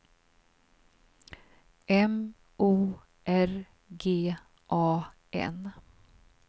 M O R G A N